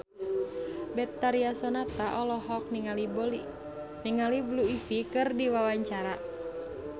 Betharia Sonata olohok ningali Blue Ivy keur diwawancara